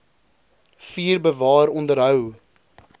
vier bewaar onderhou